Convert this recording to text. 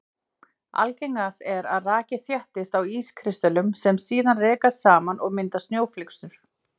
Algengast er að raki þéttist á ískristöllum sem síðan rekast saman og mynda snjóflyksur.